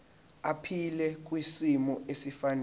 aphile kwisimo esifanele